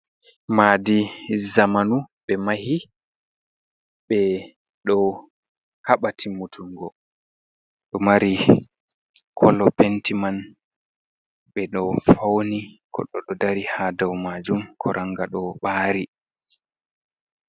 Maadi zamanu be mahi be do haba timutungo do mari kolo penti man be do fauni goddo do dari ha dau majum koranga do bari.